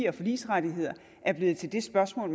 og forligsrettighederne blevet til det spørgsmål